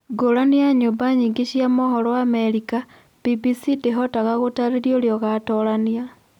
Ngũrani na nyũmba nyingĩ cia mohoro Amerika, BBC ndĩhotaga gũtarĩria ũrĩa ũgaatoorania.